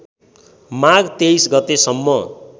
माघ २३ गतेसम्म